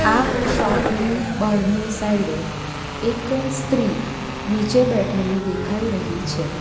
આ શોપ ની બહારની સાઇડે એક સ્ત્રી નીચે બેઠેલી દેખાઈ રહી છે.